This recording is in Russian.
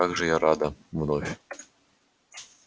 как же я рада вновь